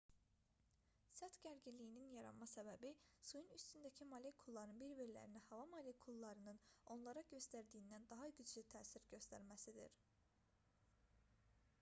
səth gərginliyinin yaranma səbəbi suyun üstündəki molekulların bir-birlərinə hava molekullarının onlara göstərdiyindən daha güclü təsir göstərməsidir